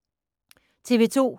TV 2